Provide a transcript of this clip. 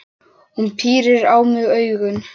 Hún pírir á mig augun.